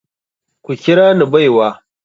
Ku kira ni baiwa.